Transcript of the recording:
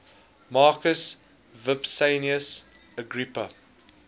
marcus vipsanius agrippa